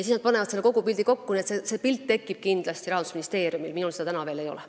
Nad panevad kogupildi kokku, nii et see pilt tekib kindlasti Rahandusministeeriumil, minul seda veel ei ole.